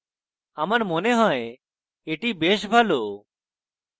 আমার মনে হয় এটি বেশ ভালো